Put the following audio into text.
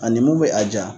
Ani mun bɛ a ja